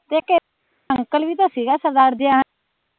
ਤੇ ਇਕ ਅੰਕਲ ਵੀ ਤਾ ਸੀਗਾ ਸਰਦਾਰ ਜੇਹਾ